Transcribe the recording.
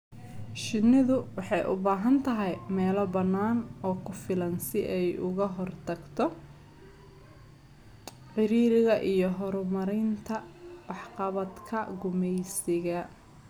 Shinnidu waxay u baahan tahay meelo bannaan oo ku filan si ay uga hortagto ciriiriga iyo horumarinta waxqabadka gumeysiga.